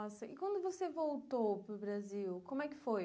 Nossa, e quando você voltou para o Brasil, como é que foi?